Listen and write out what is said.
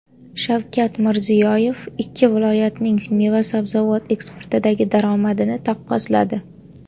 Shavkat Mirziyoyev ikki viloyatning meva-sabzavot eksportidagi daromadini taqqosladi.